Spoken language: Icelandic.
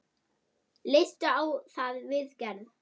Leistu á þá viðgerð?